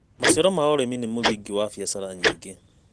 Maicaro ma ũrĩmi nĩ mũthingi wa biara nyingĩ.